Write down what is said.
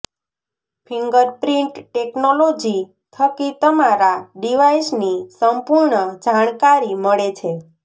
fingerprint technology થકી તમારા ડિવાઈસની સંપૂર્ણ જાણકારી મળે છે